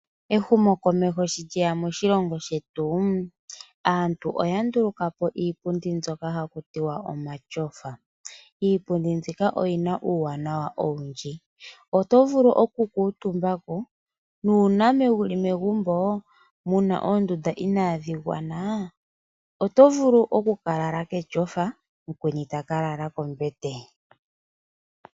Ehumo komeho sho lyeya moshilongo shetu aantu oya ndulukapo iipundi mbyoka hakutiwa omatyofa, iipundi mbyika oyina uwanawa owundji , oto vulu oku kutumbako nuna wuli megumbo muna oondunda inadhingwana oto vulu oku kalala ketyofa okweni ota kalala koombete.